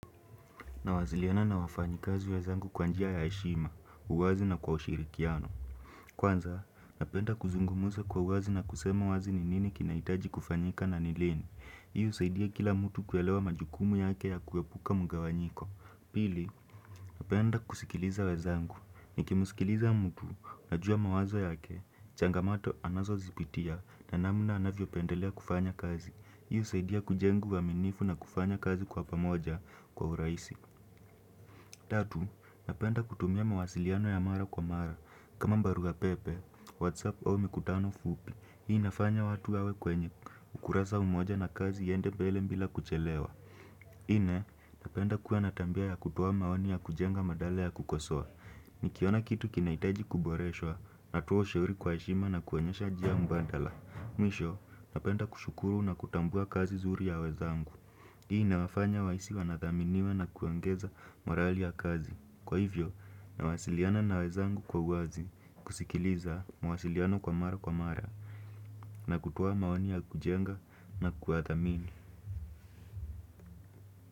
Nawasiliana na wafanyakazi wezangu kwa njia ya heshima, uwazi na kwa ushirikiano. Kwanza, napenda kuzungumuza kwa uwazi na kusema wazi ni nini kinahitaji kufanyika na nilini. Hii husaidia kila mtu kuelewa majukumu yake ya kuepuka mgawanyiko. Pili, napenda kusikiliza uwazangu. Nikimusikiliza mtu, najua mawazo yake. Changamoto anazo zipitia na namna anavyo pendelea kufanya kazi. Hii husaidia kujenga uaminifu na kufanya kazi kwa pamoja kwa urahisi. Tatu, napenda kutumia mawasiliano ya mara kwa mara. Kama barua pepe, Whatsapp au mikutano fupi. Hii inafanya watu yawe kwenye ukurasa umoja na kazi iende mbele bila kuchelewa. Ine, napenda kuwa natabia ya kutoa maoni ya kujenga badala ya kukosoa. Nikiona kitu kinahitaji kuboreshowa, natoa ushuri kwa heshima na kuonyesha njia mbadala. Mwisho, napenda kushukuru na kutambua kazi nzuri ya wezangu. Hii inawafanya wahisi wanathaminiwa na kuongeza morali ya kazi. Kwa hivyo, nawasiliana na wezangu kwa wazi, kusikiliza, mwasiliano kwa mara kwa mara, na kutoa maoni ya kujenga na kuwathamini.